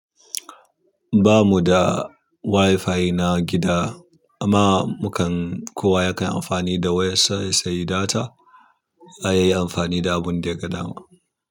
Bamu da Wi-fi na gida amma mukan kowa ya kan amfani da wayar sa ya sayi data, a, yayi amfani da abun da yaga dama.